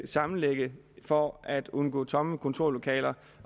sammenlægge for at undgå tomme kontorlokaler